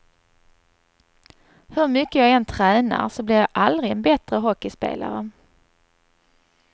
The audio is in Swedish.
Hur mycket jag än tränar så blir jag aldrig en bättre hockeyspelare.